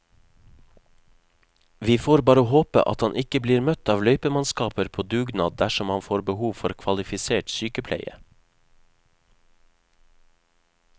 Vi får bare håpe at han ikke blir møtt av løypemannskaper på dugnad dersom han får behov for kvalifisert sykepleie.